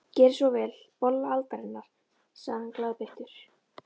Gerið svo vel, bolla aldarinnar, segir hann glaðbeittur.